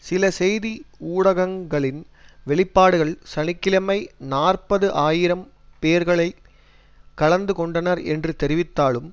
சில செய்தி ஊடகங்களின் வெளிப்பாடுகள் சனி கிழமை நாற்பது ஆயிரம் பேர்களை கலந்து கொண்டனர் என்று தெரிவித்தாலும்